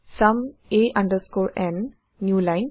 sum a n new line